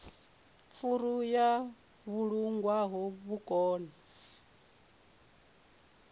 furu yo vhulungwaho vha kone